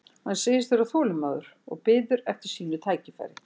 Hann segist vera þolinmóður og biður eftir sínu tækifæri.